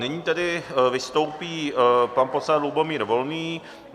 Nyní tedy vystoupí pan poslanec Lubomír Volný.